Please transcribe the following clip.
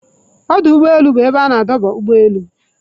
Ọdụ ụgbọ elu bụ ebe a na-adọba ụgbọ elu